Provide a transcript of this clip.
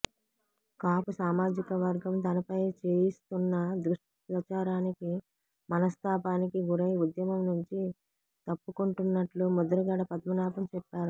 కాపు సామాజిక వర్గం తనపై చేయిస్తున్న దుష్ప్రచారానికి మనస్తానికి గురై ఉద్యమం నుంచి తప్పుకుంటున్నట్లు ముద్రగడ పద్మనాభం చెప్పారు